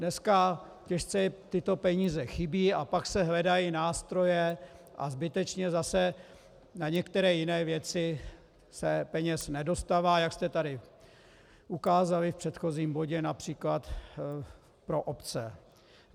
Dneska těžce tyto peníze chybějí a pak se hledají nástroje a zbytečně zase na některé jiné věci se peněz nedostává, jak jste tady ukázali v předchozím bodě například pro obce.